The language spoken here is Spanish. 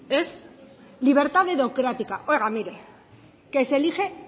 es libertad dedocrática oiga mire que se elige